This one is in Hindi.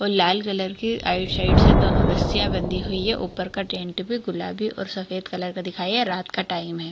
और लाल कलर के राइट | साइड से दोनों रस्सियाँ बंधी हुई है ऊपर का टेंट भी गुलाबी और सफ़ेद कलर का दिखाई यह रात का टाइम है।